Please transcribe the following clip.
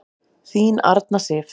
Þín Arna Sif.